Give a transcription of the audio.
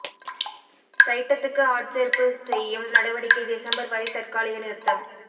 சைட்டத்துக்கு ஆட்சேர்ப்பு செய்யும் நடவடிக்கை டிசம்பர் வரை தற்காலிக நிறுத்தம்